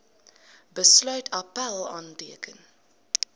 besluit appèl aanteken